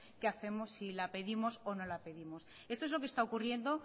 qué hacemos si la pedimos o no la pedimos esto es lo que esta ocurriendo